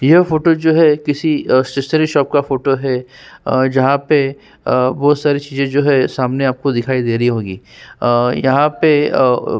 यह फोटो जो है किसी स्टेशनरी शॉप का फोटो है। जहाँ पे आ बहौत सारी चीजे जो हैं सामने आपको दिखाई दे रही होगीं आ यहाँ पे --